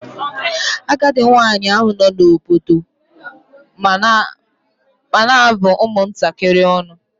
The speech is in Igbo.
Agadi nwaanyị ahụ nọ n'obodo m na-abụ ụmụ ntakịrị ọnụ.